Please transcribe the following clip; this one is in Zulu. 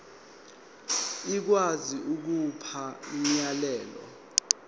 ikwazi ukukhipha umyalelo